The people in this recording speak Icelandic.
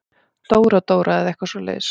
Dóra-Dóra eða eitthvað svoleiðis.